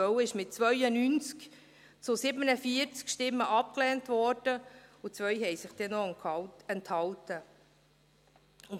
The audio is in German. es wurde mit 92 zu 47 Stimmen abgelehnt, und 2 Mitglieder enthielten sich.